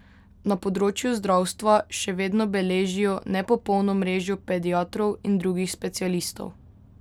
Na področju zdravstva še vedno beležijo nepopolno mrežo pediatrov in drugih specialistov.